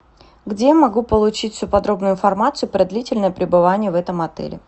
где я могу получить всю подробную информацию про длительное пребывание в этом отеле